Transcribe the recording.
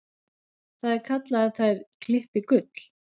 Það er kallað að þær klippi gull.